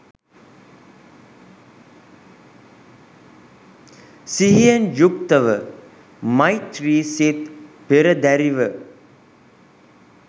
සිහියෙන් යුක්තව මෛත්‍රි සිත් පෙරදැරිව